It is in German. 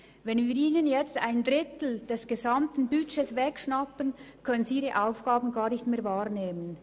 Wenn wir Ihnen nun einen Drittel des gesamten Budgets wegschnappen, können Sie ihre Aufgaben gar nicht mehr wahrnehmen.